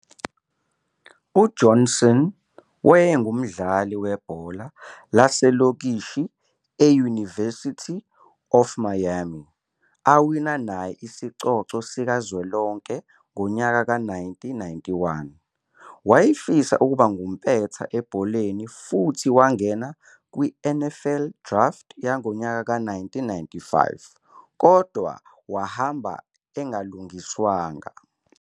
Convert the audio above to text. U-Johnson wayengumdlali webhola lasekolishi e-University of Miami, awina naye isicoco sikazwelonke ngo-1991. Wayefisa ukuba ngumpetha ebholeni futhi wangena kwiNFL Draft yango-1995, kodwa wahamba engalungiswanga.